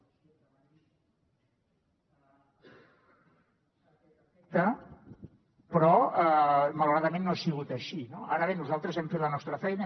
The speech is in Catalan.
a aquest efecte però malauradament no ha sigut així no ara bé nosaltres hem fet la nostra feina